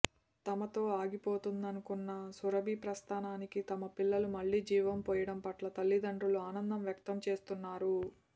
తమతో ఆగిపోతుందనుకున్న సురభి ప్రస్థానానికి తమ పిల్లలు మళ్లీ జీవం పోయడం పట్ల తల్లిదండ్రులు ఆనందం వ్యక్తం చేస్తున్నారు